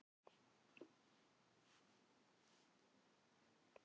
Ólafur varð framkvæmdastjóri fyrirtækisins við þessar breytingar og síðar hjá